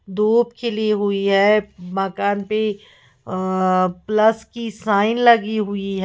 धूप खिली हुई है मकान पे अ प्लस की साइन लगी हुई है।